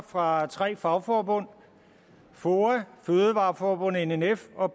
fra tre fagforbund foa fødevareforbundet nnf og